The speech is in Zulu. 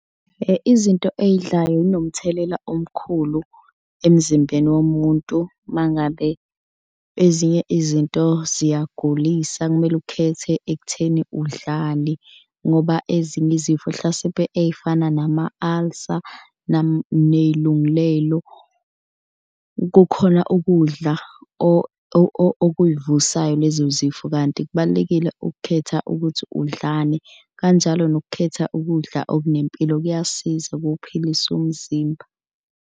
Izinto eyidlayo zinomthelela omkhulu emzimbeni womuntu uma ngabe ezinye izinto ziyagulisa kumele ukhethe ekutheni udlani ngoba ezinye izifo hlasimpe ey'fana nama-ulcer ney'lunglelo. Kukhona ukudla okuyivusayo lezo zifo kanti kubalulekile ukukhetha ukuthi udlani. Kanjalo nokukhetha ukudla okunempilo kuyasiza kuphilisa umzimba.